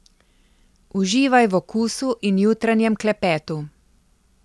Uživaj v okusu in jutranjem klepetu.